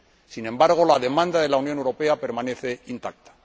Sin embargo, la demanda de la Unión Europea permanece intacta.